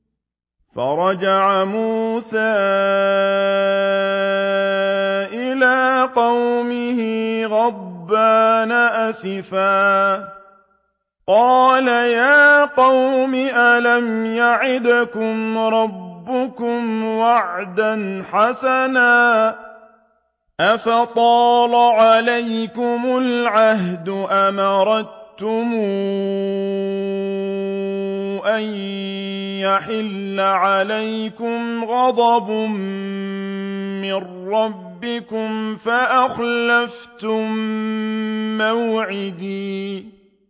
فَرَجَعَ مُوسَىٰ إِلَىٰ قَوْمِهِ غَضْبَانَ أَسِفًا ۚ قَالَ يَا قَوْمِ أَلَمْ يَعِدْكُمْ رَبُّكُمْ وَعْدًا حَسَنًا ۚ أَفَطَالَ عَلَيْكُمُ الْعَهْدُ أَمْ أَرَدتُّمْ أَن يَحِلَّ عَلَيْكُمْ غَضَبٌ مِّن رَّبِّكُمْ فَأَخْلَفْتُم مَّوْعِدِي